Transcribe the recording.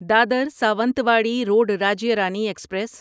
Dadar Sawantwadi road Rajya Rani express